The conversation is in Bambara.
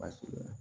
Baasi bɛ